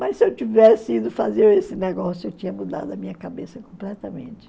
Mas se eu tivesse ido fazer esse negócio, eu tinha mudado a minha cabeça completamente.